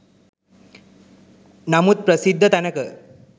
නමුත් ප්‍රසිද්ධ තැනක